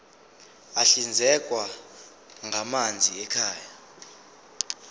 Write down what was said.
ahlinzekwa ngamanzi ekhaya